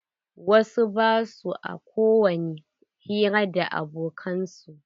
Wasu ba sua kowani hira da abokan su.